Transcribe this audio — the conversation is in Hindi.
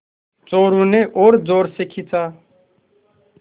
चोरु ने और ज़ोर से खींचा